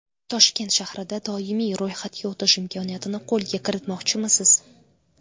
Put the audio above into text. Toshkent shahrida doimiy ro‘yxatga o‘tish imkoniyatini qo‘lga kiritmoqchimisiz?.